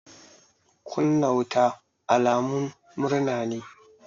Kunna wuta alamun murna ne.